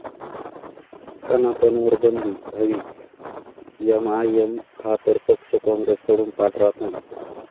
सनातन'वर बंदी हवीच!, एमआयएम हा तर पक्ष, काँग्रेसकडून पाठराखण